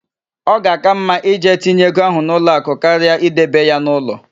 Ọ ga-àká mma ije tinye ego ahụ n'ụlọakụ karịa idebe ya n'ụlọ.